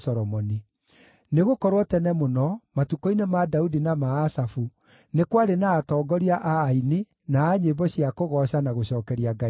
Nĩgũkorwo tene mũno, matukũ-inĩ ma Daudi na ma Asafu, nĩ kwarĩ na atongoria a aini na a nyĩmbo cia kũgooca na gũcookeria Ngai ngaatho.